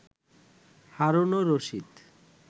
Harunur Rashid